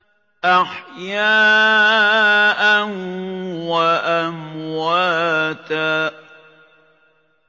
أَحْيَاءً وَأَمْوَاتًا